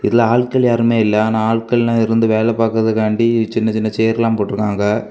இதுல ஆட்கள் யாருமே இல்ல ஆனா ஆட்கள் இருந்து வேலை பாக்ரதுகாண்டி சின்ன சின்ன சேர் போட்டிருக்காங்க.